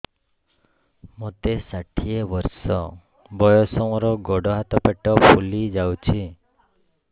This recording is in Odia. ମୋତେ ଷାଠିଏ ବର୍ଷ ବୟସ ମୋର ଗୋଡୋ ହାତ ପେଟ ଫୁଲି ଯାଉଛି